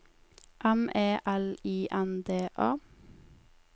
M E L I N D A